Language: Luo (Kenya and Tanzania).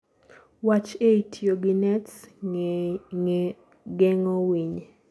wach ei tiyo gi nets geng'o winy